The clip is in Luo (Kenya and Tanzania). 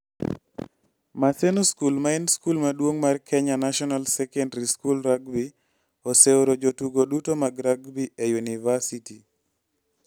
Maseno School maen skul maduong mar Kenya National Secondary School Rugby oseoro jotugo duto mag rugby e yunivasiti.